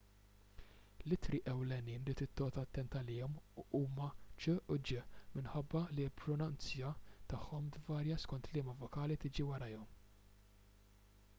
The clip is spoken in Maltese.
l-ittri ewlenin li trid toqgħod attent għalihom huma c u g minħabba li l-pronunzja tagħhom tvarja skont liema vokali tiġi warajhom